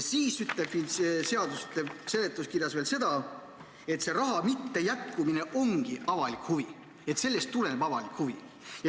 Siis ütleb seadus seletuskirjas veel seda, et raha mittejätkumine ongi avalik huvi, st sellest tuleneb avalik huvi.